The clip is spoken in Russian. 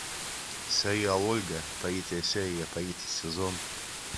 сериал ольга третья серия третий сезон